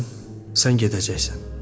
Bilirsən, sən gedəcəksən.